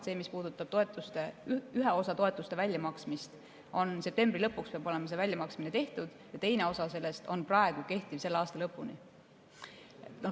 See, mis puudutab ühe osa toetuste väljamaksmist, siis septembri lõpuks peab olema see väljamaksmine tehtud, ja teine osa sellest on praegu selle aasta lõpuni kehtiv.